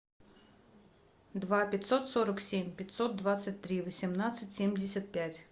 два пятьсот сорок семь пятьсот двадцать три восемнадцать семьдесят пять